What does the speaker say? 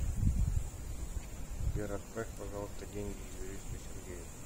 сбер отправь пожалуйста деньги юристу сергею